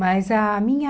Mas a minha...